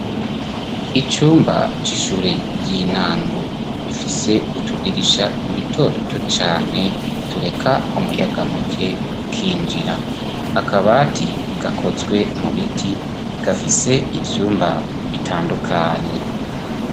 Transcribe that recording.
icumba c'ishure y'intango bifise utudirisha duto duto cane tureka umuyaga muke ukinjira akabati gakozwe mu biti gafise ivyumba bitandukanye